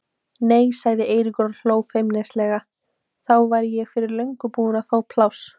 Nei sagði Eiríkur og hló feimnislega, þá væri ég fyrir löngu búinn að fá pláss.